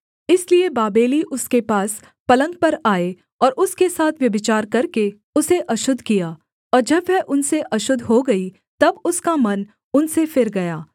इसलिए बाबेली उसके पास पलंग पर आए और उसके साथ व्यभिचार करके उसे अशुद्ध किया और जब वह उनसे अशुद्ध हो गई तब उसका मन उनसे फिर गया